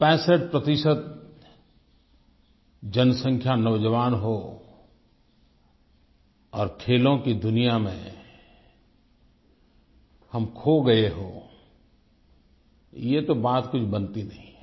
65 प्रतिशत जनसँख्या नौजवान हो और खेलों की दुनिया में हम खो गए हों ये तो बात कुछ बनती नहीं है